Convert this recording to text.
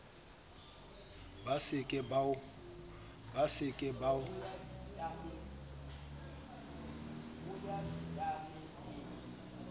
ba se ke ba o